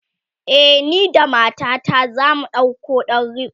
e, ni da matata zamu ɗauko ɗan riko